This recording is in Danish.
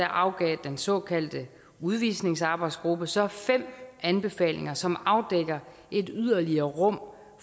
afgav den såkaldte udvisningsarbejdsgruppe så fem anbefalinger som afdækker et yderligere rum